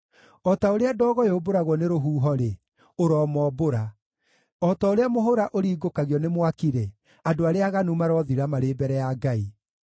O ta ũrĩa ndogo yũmbũragwo nĩ rũhuho-rĩ, ũromombũra; o ta ũrĩa mũhũra ũringũkagio nĩ mwaki-rĩ, andũ arĩa aaganu marothira marĩ mbere ya Ngai.